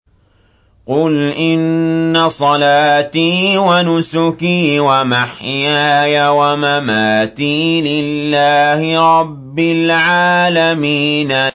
قُلْ إِنَّ صَلَاتِي وَنُسُكِي وَمَحْيَايَ وَمَمَاتِي لِلَّهِ رَبِّ الْعَالَمِينَ